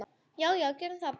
Já já, gerum það bara.